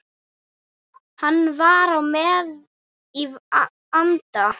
Hann var með í anda.